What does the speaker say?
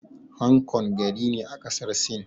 Hang Kong gari ne a ƙasar Sin.